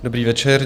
Dobrý večer.